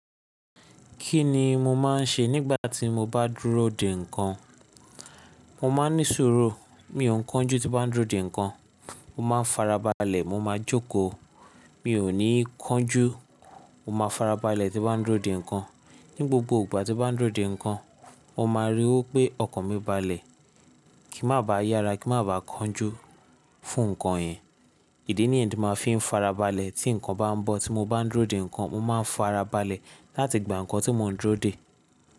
Kí ni mo máa ń ṣe nígbà tí mo bá dúró dè nǹkan? Mo máa ń ní sùúrù, mi ò kánjú tí bá ń dúró dè nǹkan, mo máa ń farabalẹ̀, mo máa jókòó, mi ò ní kánjú, mo máa farabalẹ̀ tí bá ń dúró dè nǹkan. Ní gbogbo ìgbà tí bá ń dúró dè nǹkan, o máa ríi wí pé ọkàn mi balẹ̀, kí má ba yára, kí má ba kánjú fún nǹkan yẹn. Ìdí ni ẹ́ni mo fi ń farabalẹ̀ tí nǹkan bá ń bọ̀ tí mo bá ń dúró dè nǹkan, mo máa ń farabalẹ̀ láti gbà nǹkan tí mò ń dúró dè.